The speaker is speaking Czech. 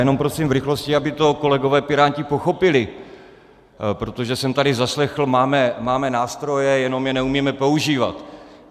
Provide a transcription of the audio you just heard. Jenom prosím v rychlosti, aby to kolegové piráti pochopili, protože jsem tady zaslechl: máme nástroje, jenom je neumíme používat.